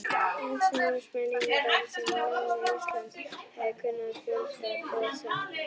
Landnámsmennirnir, sem námu Ísland, hafa kunnað fjölda þjóðsagna.